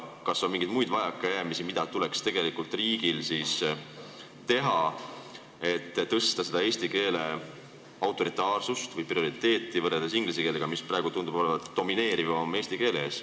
Kas on mingeid muid vajakajäämisi, mida tuleks tegelikult riigil ära teha, et suurendada eesti keele autoriteeti või prioriteetsust võrreldes inglise keelega, mis praegu tundub olevat eesti keele ees domineeriv?